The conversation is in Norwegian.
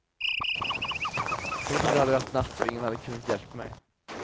Tenk om det hadde vært natt, og ingen hadde kunnet hjelpe meg.